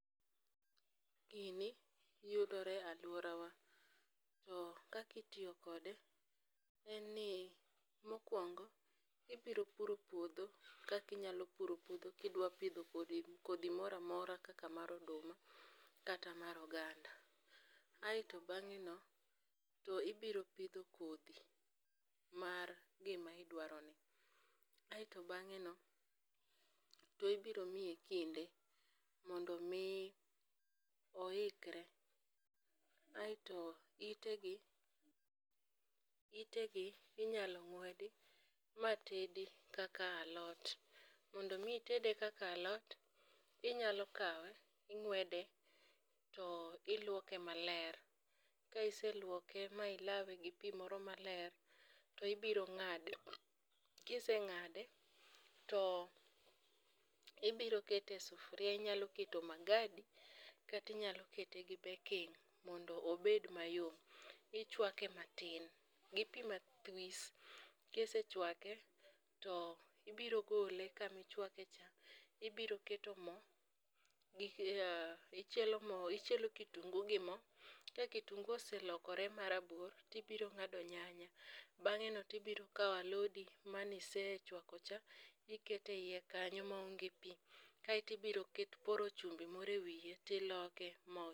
Gini yudore e aluorawa to kaka itiyo kode en ni mokuongo ibiro puro puodho kaka inyalo puro kipidho kodhi moro amora kaka mar oduma kata mar oganda. Aeto bang'eno ibiro pidho kodhi mar gima idwarono kaeto bang'e ibiro miyi kinde mondo mi oikre aetomitegi inyalo ng'wedi matedi kaka alot. Mondo mi itede kaka alot, inyalo kawe ming'wede to iluoke maler. ka iseluoke ma ilawe gi pi moro maler to ibiro ng'ade. Ka iseng'ade to iibiro keto e sufuria inyalo keto magadi kata inyalo kete gi baking mondo obed mayom. Ichuake matin gi pi mathwis. Ka isechuake to ibiro gole kama ichuake cha to ibiro keto mo, gi ichielo mo ichielo kitungu gi mo, ka kitungu oselokore marabuor to ibiro ng'ado nyanya, bang'eno to ibiro kawo alodi mane isechuakocha iketo eiye kanyo maonge pi, kaeto ibiro ket poro chumbi moro ewiye to iloke